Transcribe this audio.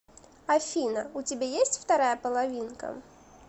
афина у тебя есть вторая половинка